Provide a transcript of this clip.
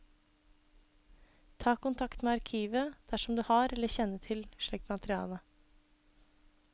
Ta kontakt med arkivet dersom du har eller kjenner til slikt materiale.